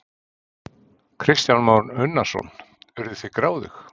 Kristján Már Unnarsson: Urðuð þið gráðug?